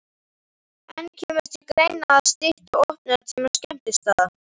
En kemur til greina að stytta opnunartíma skemmtistaða?